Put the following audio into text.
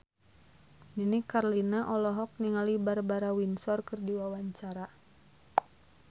Nini Carlina olohok ningali Barbara Windsor keur diwawancara